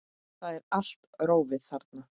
Það er allt rófið þarna.